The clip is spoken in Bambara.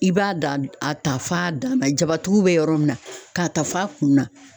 I b'a da a ta f'a dan na jabatigiw bɛ yɔrɔ min na, k'a ta f'a kun na.